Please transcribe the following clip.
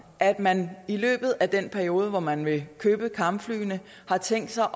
at man i løbet af den periode hvor man vil købe kampflyene har tænkt sig